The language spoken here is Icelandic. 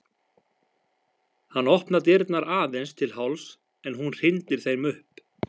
Hann opnar dyrnar aðeins til hálfs en hún hrindir þeim upp.